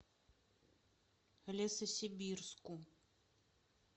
лесосибирску